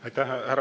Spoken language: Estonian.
Aitäh!